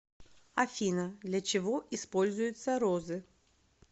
афина для чего используется розы